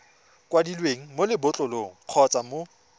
kwadilweng mo lebotlolong kgotsa mo